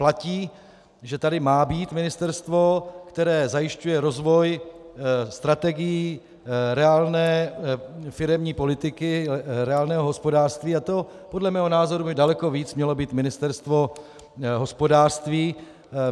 Platí, že tady má být ministerstvo, které zajišťuje rozvoj, strategii reálné firemní politiky, reálného hospodářství, a to podle mého názoru by daleko víc mělo být Ministerstvo hospodářství.